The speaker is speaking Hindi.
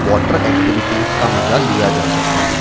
वाटर एक्टिविटीज का मजा लिया जा सकता हैं।